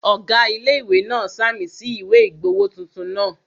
Ọ̀gá ilé-ìwé náà ṣàmì sí ìwé ìgbowó tuntun náà